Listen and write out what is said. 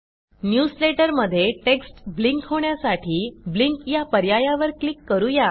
newsletter मध्ये text blink होण्यासाठी blink या पर्यायावर क्लिक करू या